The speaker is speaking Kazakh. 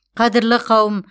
қадірлі қауым